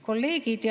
Kolleegid!